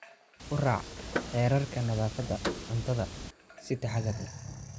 U raac xeerarka nadaafadda cuntada si taxadar leh.